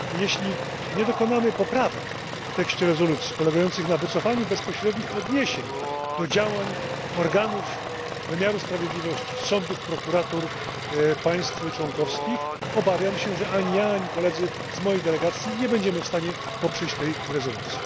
Jeśli nie dokonamy poprawek w tekście rezolucji polegających na wycofaniu bezpośrednich odniesień do działań organów wymiaru sprawiedliwości, sądów i prokuratur państw członkowskich, obawiam się, że ani ja, ani koledzy z mojej delegacji nie będziemy w stanie poprzeć tej rezolucji.